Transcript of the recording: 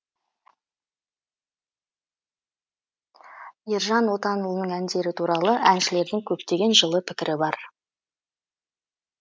ержан отанұлының әндері туралы әншілердің көптеген жылы пікірі бар